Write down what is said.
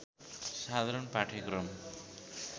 साधारण पाठ्यक्रम